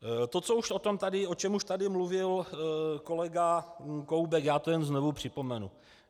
To, o čem už tady mluvil kolega Koubek, já to jen znovu připomenu.